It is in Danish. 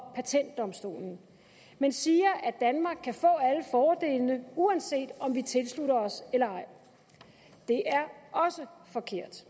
og patentdomstolen men siger at danmark kan få alle fordelene uanset om vi tilslutter os eller ej det er også forkert